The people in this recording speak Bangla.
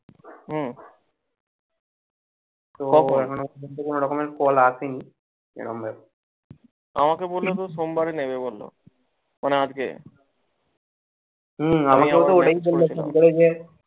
তো এখন ও পর্যন্ত ওরকমের call আসেনি